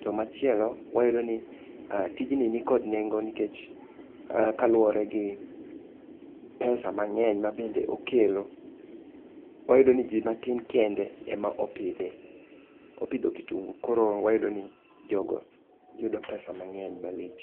To machielo wayudo ni tijni ni kod nengo nikech kaluwore gi pesa mang'eny ma bende okelo. Wayudo ni ji matin kende ema opidhe, opidho kitungu koro wayudo ni jogo yudo pesa mang'eny malich.